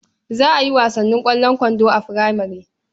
Za a yi wasan ƙwallon kwando a furamare.